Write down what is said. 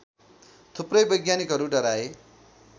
थुप्रै वैज्ञानिकहरू डराए